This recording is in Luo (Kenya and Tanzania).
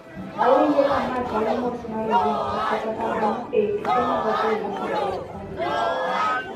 Awinjo ka ma chalo mos mar oriti kata kamano e I tuke mag adhula mbele ok ong`ere.